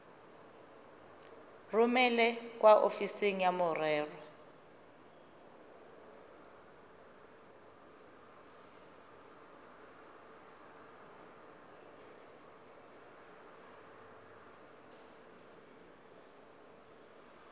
romele kwa ofising ya merero